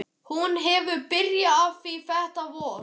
Hún hefur byrjað á því þetta vor.